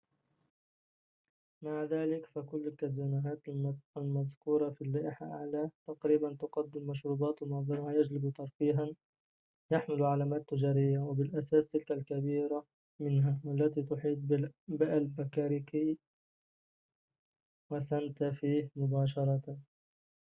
مع ذلك، فكل الكازينوهات المذكورة في اللائحة أعلاه تقريباً تقدم مشروبات، ومعظمها يجلب ترفيهاً يحمل علامات تجارية وبالأساس تلك الكبيرة منها والتي تحيط بألباكركي وسانتا فيه مباشرةً